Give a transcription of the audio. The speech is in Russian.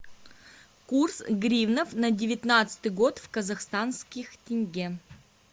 курс гривнов на девятнадцатый год в казахстанских тенге